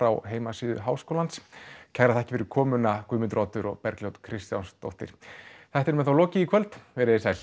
á heimasíðu háskólans kærar þakkir fyrir komuna Guðmundur Oddur og Bergljót Kristjánsdóttir þættinum er þá lokið í kvöld veriði sæl